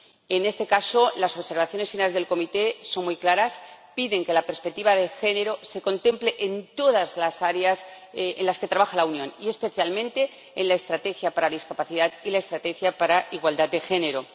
En este caso, las observaciones finales de la comisión son muy claras piden que la perspectiva de género se contemple en todas las áreas en las que trabaja la Unión y, especialmente, en la estrategia sobre la discapacidad y la estrategia sobre la igualdad de género.